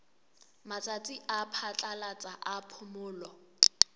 matsatsi a phatlalatsa a phomolo